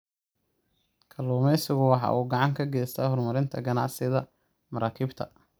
Kalluumaysigu waxa uu gacan ka geystaa horumarinta ganacsiga maraakiibta.